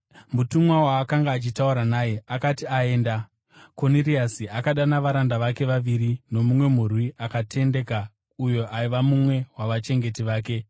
Mutumwa waakanga achitaura naye akati aenda, Koniriasi akadana varanda vake vaviri nomumwe murwi akatendeka uyo aiva mumwe wavachengeti vake.